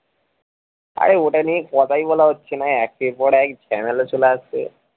আরে ওটা নিয়ে কথাই বলা হচ্ছে না একের পর এক ঝামেলা চলে আসছে